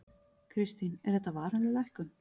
Kristín: Er þetta varanleg lækkun?